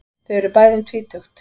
Þau eru bæði um tvítugt.